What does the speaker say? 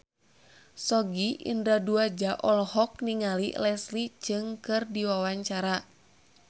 Sogi Indra Duaja olohok ningali Leslie Cheung keur diwawancara